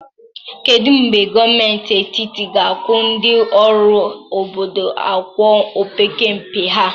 Kedu mgbe gọọmentị etiti ga-akwụ ndị ọrụ obodo ụgwọ opekempe ha?